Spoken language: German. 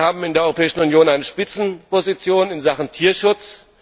Wir haben in der Europäischen Union eine Spitzenposition in Sachen Tierschutz.